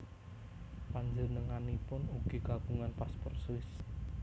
Panjenenganipun ugi kagungan paspor Swiss